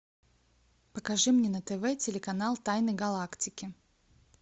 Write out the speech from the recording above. покажи мне на тв телеканал тайны галактики